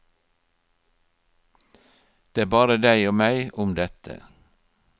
Det er bare deg og meg om dette.